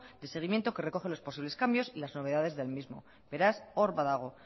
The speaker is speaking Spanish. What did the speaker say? de seguimiento que recoge los posibles cambios y las novedades del mismo beraz hor badago